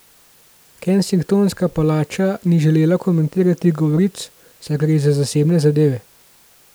Kensingtonska palača ni želela komentirati govoric, saj gre za zasebne zadeve.